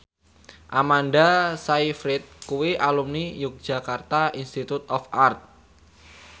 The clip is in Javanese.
Amanda Sayfried kuwi alumni Yogyakarta Institute of Art